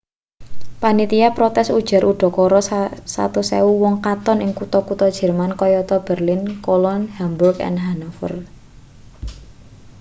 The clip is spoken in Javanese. panitia protes ujar udakara 100.000 wong katon ing kutha-kutha jerman kayata berlin cologne hamburg lan hanover